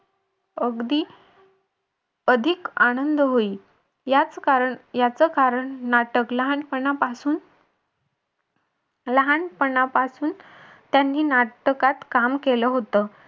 अगदी अधिक आनंद होई. यात कारण याचं कारण नाटक लहानपणापासून लहानपणापासून त्यांनी नाटकात काम केलं होतं.